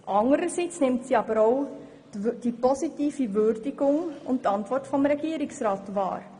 Anderseits nimmt sie auch die positive Würdigung und die Antwort des Regierungsrats wahr.